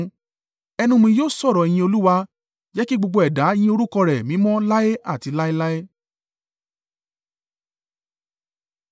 Ẹnu mi yóò sọ̀rọ̀ ìyìn Olúwa. Jẹ́ kí gbogbo ẹ̀dá yín orúkọ rẹ̀ mímọ́ láé àti láéláé.